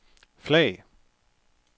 flag